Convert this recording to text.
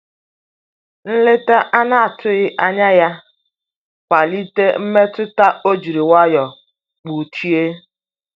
Nleta anatughi anya ya kwalite mmetụta o jiri nwayo kpochie.